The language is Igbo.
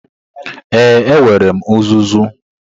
Ee, enwere m uzuzu.